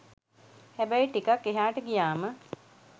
හැබැයි ටිකක් එහාට ගියාම